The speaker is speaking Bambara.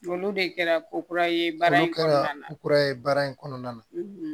Olu de kɛra ko kura ye baara ko ye baara in kɔnɔna na